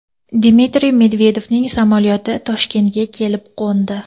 Dmitriy Medvedevning samolyoti Toshkentga kelib qo‘ndi.